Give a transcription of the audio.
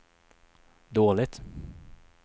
dåligt